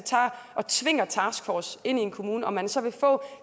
tvinger en taskforce ind i en kommune om man så vil få